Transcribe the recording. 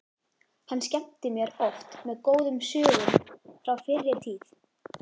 Hann skemmti mér oft með góðum sögum frá fyrri tíð.